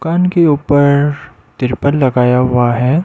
दूकान के ऊपर तिरुपल लगाया हुआ है।